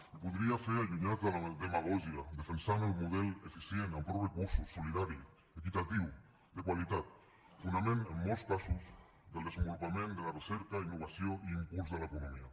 i ho podria fer allunyada de la demagògia defensant el model eficient amb prou recursos solidari equitatiu de qualitat fonament en molts casos del desenvolupament de la recerca i innovació i impuls de l’economia